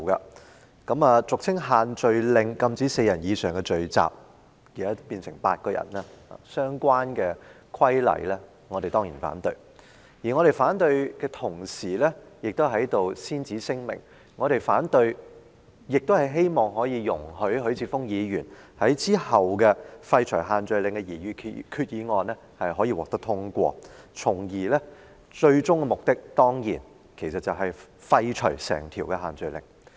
我們當然反對俗稱限聚令，禁止4人以上聚集的相關規例，而我們在反對的同時，先此聲明，我們亦希望許智峯議員稍後提出的廢除限聚令的擬議決議案獲得通過，從而達致最終目的，便是廢除整項限聚令。